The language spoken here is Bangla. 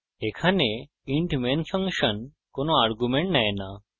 এখানে int main function কোনো arguments নেয় no